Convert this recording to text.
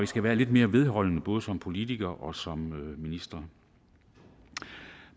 skal være lidt mere vedholdende både som politikere og som minister